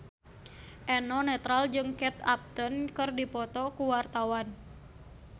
Eno Netral jeung Kate Upton keur dipoto ku wartawan